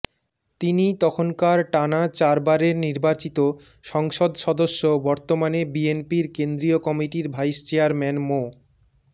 তিনি তখনকার টানা চারবারের নির্বাচিত সংসদ সদস্য বর্তমানে বিএনপির কেন্দ্রীয় কমিটির ভাইস চেয়ারম্যান মো